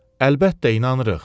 Əlbəttə inanırıq.